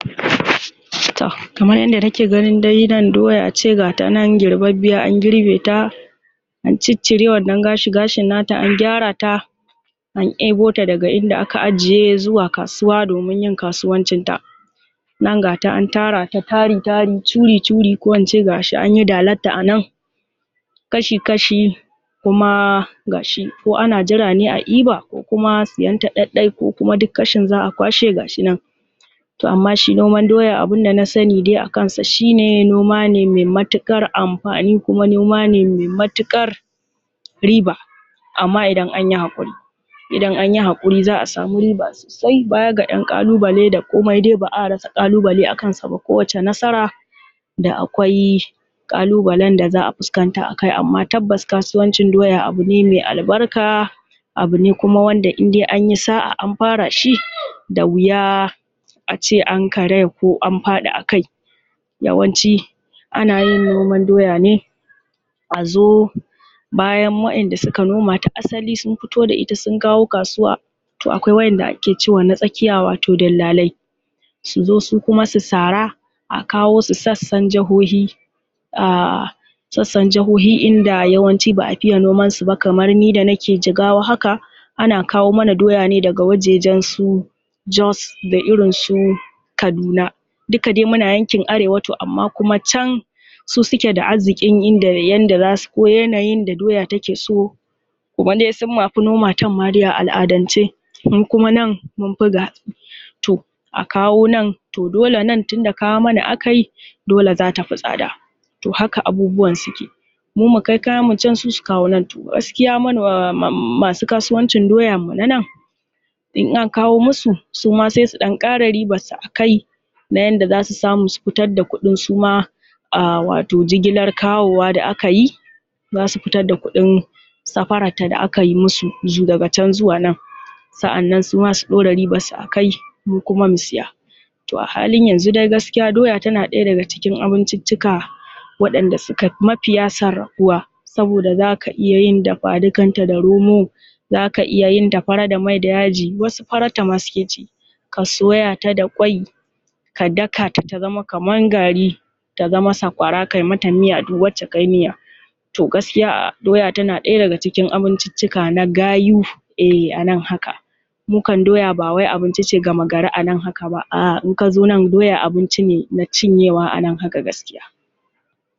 kamar yadda nake gani nan doya ce gata nan girbabbiya an girbe ta an cicire wannan gashin gashin nata an gyara ta an debo ta daga inda aka ajiye zuwa kasuwa domin yin kasuwancin ta nan gata an tara ta tari tari churi churi ko ince gashi anyi dalan ta anan kashi kashi kuma gashi ko ana jira ne a diba ko kuma siyan ta ɗaɗɗai ko kuma duk kashin za'a kashe gashinan toh amma shi noman doya abun da nasani dai akan sa shine noma ne mai matuƙar amfani kuma noma ne mai matuƙar riba amma idan anyi hakuri idan anyi hakuri za'a samu riba sosai bayan ga dan kalubale da komai dai ba'a rasa kalubale a kansa ba ko wacce nasara da akwai kalubalen da za'a fuskanta akai amma tabbas kasuwancin doya abune mai albarka abune kuma wanda indai anyi sa'a an fara shi da wuya a ce an karaya ko an faɗi a kai yawanci anayin noman doya ne a zo bayan wa'enda suka noma ta asali sun fito da ita sun kawo kasuwa toh akwai wa'enda ake cewa na tsakiya wato dillalai su zo su kuma su sara akawo su sasan jahohi ahh sassan jihohi inda yawanci ba'a fiye noman su kamar ni da nake jigawa haka ana kawo mana doya ne daga wajajen su jos da irin su kaduna duka dai muna yankin arewa amma kuma can su suke da arzikin yanda zasu ko yanayin da doya take so kaman dai sun ma fi noman a al'adan ce ni kuma nan munfi toh a kawo nan toh dole nan tunda kawo mana akayi dole zata fi tsada toh haka abubuwan suke mu mu kai kayan mu can su su kawo nan toh gaskiya masu kasuwancin doyan mu na nan in an kawo musu suma sai su dan kara riban su a kai na yanda zasu samu su fitar da kudin suma a wato jigilar kawo wa da aka yi zasu fitar da kuɗin safaran ta da akayi musu daga can zuwa nan sa'annan suma su dora riban su akai mu kuma mu siya toh a hanlin yanzu dai gaskiya doya tana daya daga cikin abuncicika wadanda suka fi mafiya saboda zaka iya yin dafa duka da romon ta zaka iya yin ta faran ta da mai da yaji wasu farar ta ma suke ci a soya ta da kwai ka daka ta ta zama kamar gari ta zama sakwara kayi mata miya duk wacce kayi miya toh gaskiya doya tana daya daga cikin abincicika na gayu eh a nan haka mu kan doya bawai abinci ce ga a nan haka ba ahh in kazo nan doya abinci ne na cinye wa a nan haka gaskiya